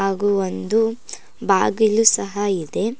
ಹಾಗೂ ಒಂದು ಬಾಗಿಲು ಸಹ ಇದೆ.